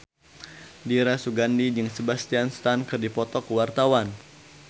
Dira Sugandi jeung Sebastian Stan keur dipoto ku wartawan